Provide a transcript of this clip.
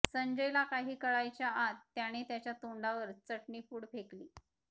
संजयला काही कळायच्या आत त्याने त्याच्या तोंडावर चटणी पूड फेकली